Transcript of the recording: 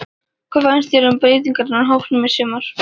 Hvað finnst þér um breytingarnar á hópnum í sumar?